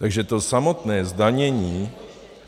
Takže to samotné zdanění...